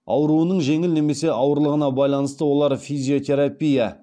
ауруының жеңіл немесе ауырлығына байланысты олар физиотерапия